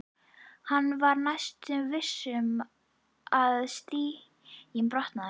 Hann var næstum viss um að stiginn brotnaði.